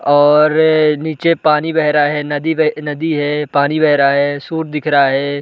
और नीचे पानी बह रहा है। नदी बह नदी है। पानी बह रहा है। दिख रहा है।